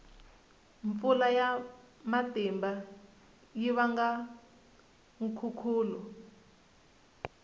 mpfula ya matimba yi vanga nkhukhulo